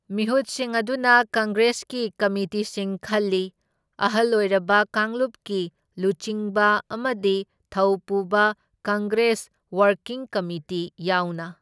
ꯃꯤꯍꯨꯠꯁꯤꯡ ꯑꯗꯨꯅ ꯀꯪꯒ꯭ꯔꯦꯁꯀꯤ ꯀꯃꯤꯇꯤꯁꯤꯡ ꯈꯜꯂꯤ, ꯑꯍꯜ ꯑꯣꯏꯔꯕ ꯀꯥꯡꯂꯨꯞꯀꯤ ꯂꯨꯆꯤꯡꯕ ꯑꯃꯗꯤ ꯊꯧ ꯄꯨꯕ ꯀꯪꯒ꯭ꯔꯦꯁ ꯋꯥꯔꯀꯤꯡ ꯀꯝꯃꯤꯇꯤ ꯌꯥꯎꯅ꯫